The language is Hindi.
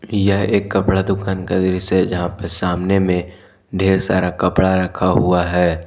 यह एक कपड़ा दुकान का दृश्य है जहां पर सामने में ढेर सारा कपड़ा रखा हुआ है।